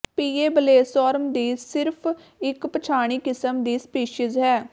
ਪੀਏਬਲੇਸੋਰਮ ਦੀ ਸਿਰਫ ਇੱਕ ਪਛਾਣੀ ਕਿਸਮ ਦੀ ਸਪੀਸੀਜ਼ ਹੈ